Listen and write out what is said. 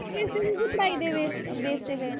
ਪੜਾਈ ਦੇ base base ਤੇ ਗਏ ਨੇ